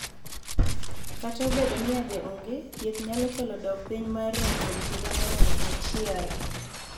Kata obedo ni yadhe ong'e, thieth nyalo kelo dok piny mar rem kuon higa maromo achiel.